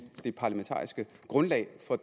det parlamentariske grundlag for